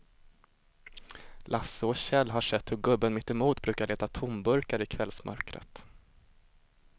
Lasse och Kjell har sett hur gubben mittemot brukar leta tomburkar i kvällsmörkret.